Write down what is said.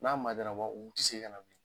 N'a waat u bi segin ka na